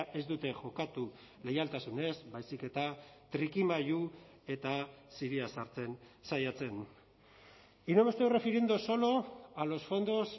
ez dute jokatu leialtasunez baizik eta trikimailu eta ziria sartzen saiatzen y no me estoy refiriendo solo a los fondos